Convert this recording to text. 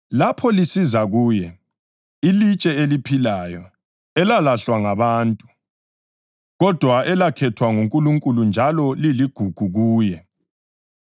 Lapho lisiza kuye, iLitshe eliphilayo, elalahlwa ngabantu, kodwa elakhethwa nguNkulunkulu njalo liligugu kuye,